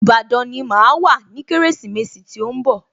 Ìbàdàn ni màá wà ní Kérésìmesì tí ó ń bọ̀